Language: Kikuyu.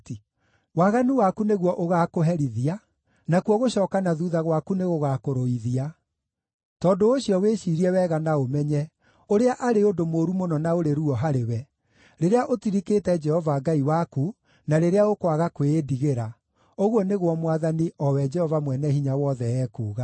Waganu waku nĩguo ũgaakũherithia, nakuo gũcooka na thuutha gwaku nĩgũgakũrũithia. Tondũ ũcio wĩciirie wega na ũmenye ũrĩa arĩ ũndũ mũũru mũno na ũrĩ ruo harĩwe, rĩrĩa ũtirikĩte Jehova Ngai waku, na rĩrĩa ũkwaga kwĩĩndigĩra,” ũguo nĩguo Mwathani, o we Jehova Mwene-Hinya-Wothe, ekuuga.